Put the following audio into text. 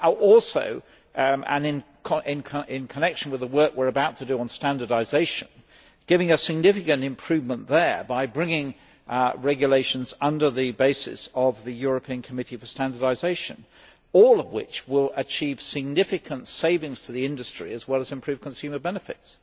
also, in connection with the work we are about to do on standardisation, giving a significant improvement there by bringing regulations under the basis of the European Committee for Standardisation, all of which will achieve significant savings to the industry as well as improve consumer benefits.